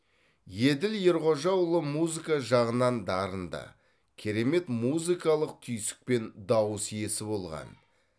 еділ ерғожаұлы музыка жағынан дарынды керемет музыкалық түйсік пен дауыс иесі болған